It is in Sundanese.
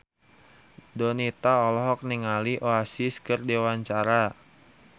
Donita olohok ningali Oasis keur diwawancara